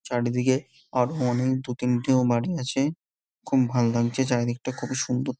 চারিদিকে দুতিনটেও বাড়ি গেছে। খুব ভালো লাগছে চারিদিকটা খুবই সুন্দর ।